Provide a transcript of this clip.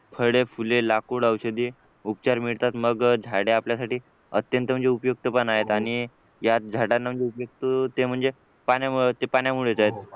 फळे फुले लाकूड औषधी उपचार मिळतात मग झाडे आपल्यासाठी अत्यंत म्हणजे उपयुक्त पण आहेत आणि याच झाडांना ना उपयुक्त ते म्हणजे पाण्यामुळं पाण्यामुळेच आहेत